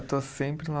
Estou sempre lá